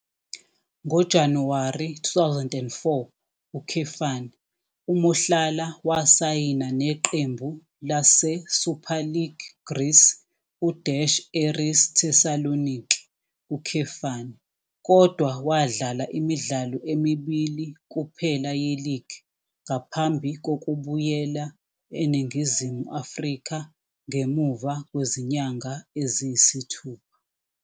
NgoJanuwari 2004, uMohlala wasayina neqembu laseSuperleague Greece u- Aris Thessaloniki, kodwa wadlala imidlalo emibili kuphela yeligi ngaphambi kokubuyela eNingizimu Afrika ngemuva kwezinyanga eziyisithupha.